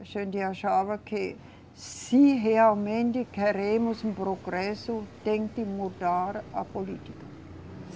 A gente achava que, se realmente queremos um progresso, tem de mudar a política.